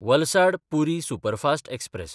Valsad-Puri superfast express